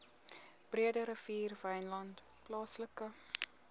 breederivier wynland plaaslike